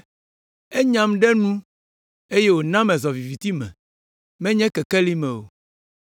Enyam ɖe nu eye wòna mezɔ viviti me, menye kekeli me o;